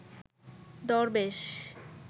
দরবেশ